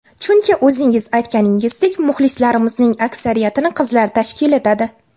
Chunki o‘zingiz aytganingizdek, muxlislarimizning aksariyatini qizlar tashkil etadi.